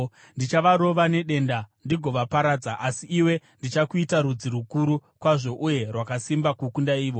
Ndichavarova nedenda ndigovaparadza, asi iwe ndichakuita rudzi rukuru kwazvo uye rwakasimba kukunda ivo.”